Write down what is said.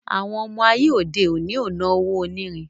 Àwon ọmọ Aye òde òni o no Owó onírin